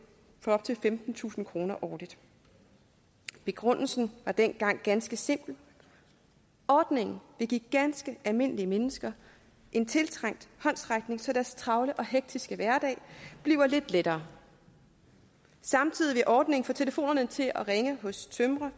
op til femtentusind kroner årligt begrundelsen var dengang ganske simpel ordningen vil give ganske almindelige mennesker en tiltrængt håndsrækning så deres travle og hektiske hverdag bliver lidt lettere samtidig vil ordningen få telefonerne til at ringe hos tømrere